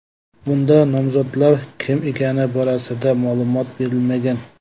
Bunda nomzodlar kim ekani borasida ma’lumot berilmagan.